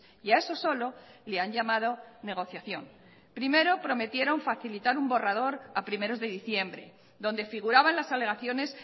y a eso solo le han llamado negociación primero prometieron facilitar un borrador a primeros de diciembre donde figuraban las alegaciones